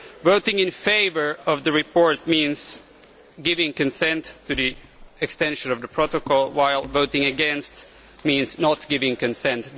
Voting in favour of the report means giving consent to the extension of the protocol, while voting against means not giving consent.